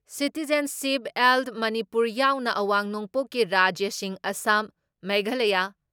citizenship ꯑꯦꯜ ꯃꯅꯤꯄꯨꯔ ꯌꯥꯎꯅ ꯑꯋꯥꯡ ꯅꯣꯡꯄꯣꯛꯀꯤ ꯔꯥꯖ꯭ꯌꯁꯤꯡ ꯑꯁꯥꯝ, ꯃꯦꯘꯥꯂꯌ,